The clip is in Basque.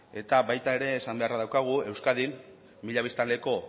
eta baita ere esan beharra daukagu euskadin mila biztanleko